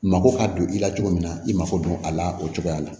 Mako ka don i la cogo min na i mako don a la o cogoya la